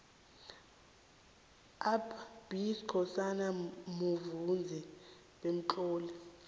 up b skhosana muvezi bemtloli